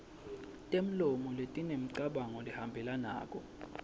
temlomo letinemicabango lehambelanako